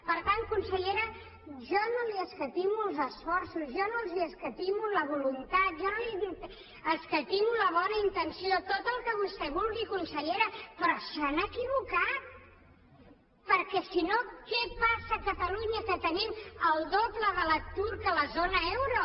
per tant consellera jo no li escatimo els esforços jo no els escatimo la voluntat jo no li escatimo la bona intenció tot el que vostè vulgui consellera però s’han equivocat perquè si no què passa a catalunya que tenim el doble de l’atur que a la zona euro